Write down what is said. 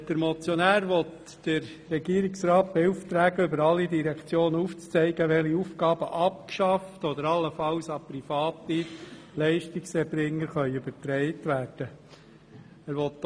Der Motionär will den Regierungsrat damit beauftragen, über alle Direktionen hinweg aufzuzeigen, welche Aufgaben abgeschafft oder allenfalls an private Leistungserbringer übertragen werden können.